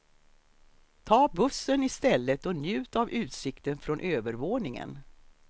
Ta bussen i stället och njut av utsikten från övervåningen.